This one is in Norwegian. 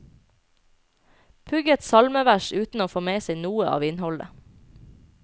Pugget salmevers uten å få med seg noe av innholdet.